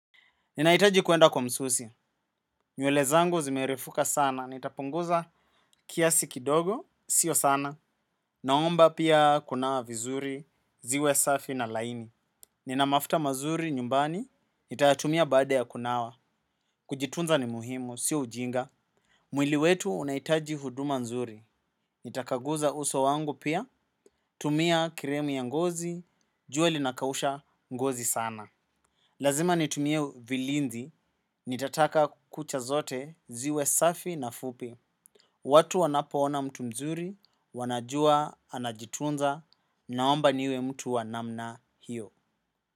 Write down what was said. Ninahitaji kuenda kwa msusi. Nywele zangu zimerefuka sana. Nitapunguza kiasi kidogo. Sio sana. Naomba pia kunawa vizuri. Ziwe safi na laini. Nina mafuta mazuri nyumbani. Nitayatumia baada ya kunawa. Kujitunza ni muhimu. Sio ujinga. Mwili wetu unahitaji huduma nzuri. Nitakaguza uso wangu pia. Tumia krimu ya ngozi. Jua linakausha ngozi sana. Lazima nitumie vilinzi. Nitataka kucha zote. Ziwe safi na fupi. Watu wanapoona mtu mzuri wanajua anajitunza naomba niwe mtu wa namna hiyo.